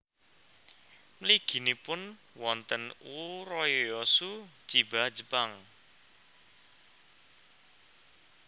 Mliginipun wonten Urayasu Chiba Jepang